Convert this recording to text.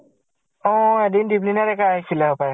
অ এদিন দ্বীপলিনা ডেকা আছিছিলে হ্পাই হয়।